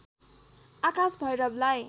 आकाश भैरवलाई